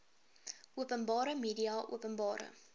openbare media openbare